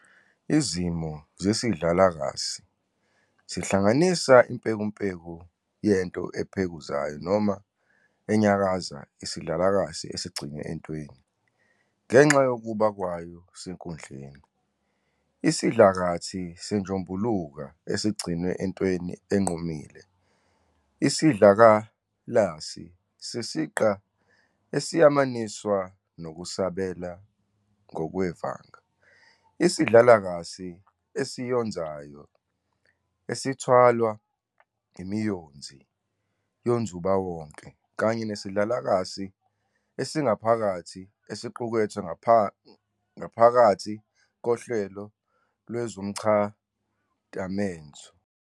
Izimo ezivamile zesidlakalasi zihlanganisa impekumpeku yento ephekuzayo noma enyakazayo, isidlakalasi esigcinwe entweni, ngenxa yokuba kwayo senkundleni, isidlakathi senjombuluka esigcinwe entweni enqumile, isidlakalasi sesiqa esiyamaniswa nokusabela ngokwevanga, isidlakalasi esiyonzayo esithwalwa imiyonzi yenzubawonga, kanye nesidlakalasi esingaphakathi esiqukethwe ngaphakathi kohlelo lwezomchadamezo.